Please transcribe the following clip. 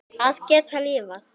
Að geta lifað.